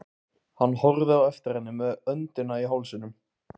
Hann horfði á eftir henni með öndina í hálsinum.